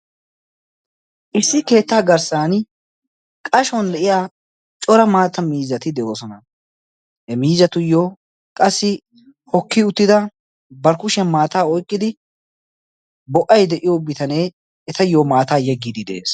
issi keettaa garssan qashon lo'iya cora maatta miizati de'oosona. he miizatuyyo qassi hokki uttida barkushiyan maataa oyqqidi bo'ay de'iyo bitanee etayyo maataa yeggidi de'ees